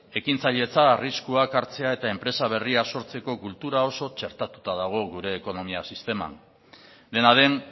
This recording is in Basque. ekintzailetza arriskuak hartzea eta enpresa berriak sortzeko kultura oso txertatuta dago gure ekonomia sisteman dena den